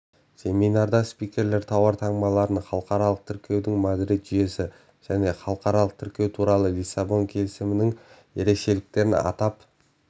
семинарда спикерлер тауар таңбаларын халықаралық тіркеудің мадрид жүйесі және халықаралық тіркеу туралы лиссабон келісімінің ерекшеліктерін атап